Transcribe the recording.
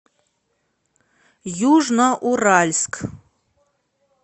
южноуральск